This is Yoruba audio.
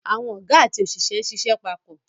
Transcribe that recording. Àwọn Ọ̀gá àti òṣìṣẹ́ ń ṣiṣẹ́ papọ̀